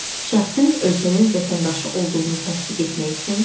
Şəxsin ölkənin vətəndaşı olduğunu təsdiq etmək üçün.